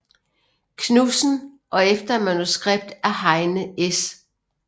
Knudsen og efter manuskript af Heine S